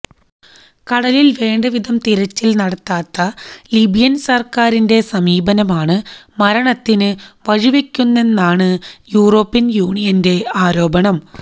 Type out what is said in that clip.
കടലിൽ വേണ്ട വിധം തിരച്ചിൽ നടത്താത്ത ലിബിയൻ സർക്കാരിന്റെ സമീപനമാണ് മരണ്തതിന് വഴിവെക്കുന്നതെന്നാണ് യൂറോപ്യൻ യൂണിയന്റെ ആരോപണം